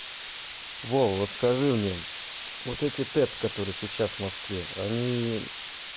вова вот скажи мне вот эти тец которые сейчас в москве они